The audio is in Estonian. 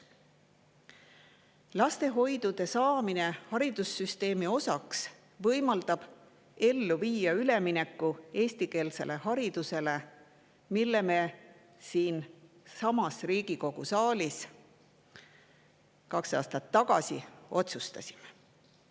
Lastehoidude haridussüsteemi osaks võimaldab üle minna eestikeelsele haridusele, mille kohta me kaks aastat tagasi siinsamas Riigikogu saalis otsuse.